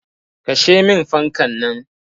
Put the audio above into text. Kashe min fankan nan.